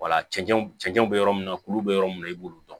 cɛncɛn cɛncɛn be yɔrɔ min na kulu bɛ yɔrɔ min na i b'olu dɔn